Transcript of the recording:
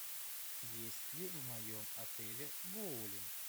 есть ли в моем отеле боулинг